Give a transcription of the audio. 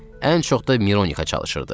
Ən çox da Mironixa çalışırdı.